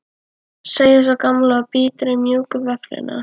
segir sú gamla og bítur í mjúka vöfflu.